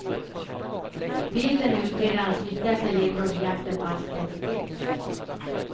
Bilden är utredarnas viktigaste ledtråd i jakten på hans identitet.